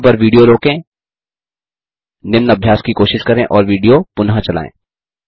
यहाँ पर विडियो रोकें निम्न अभ्यास की कोशिश करें और विडियो पुनः चलायें